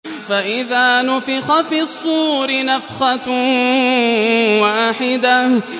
فَإِذَا نُفِخَ فِي الصُّورِ نَفْخَةٌ وَاحِدَةٌ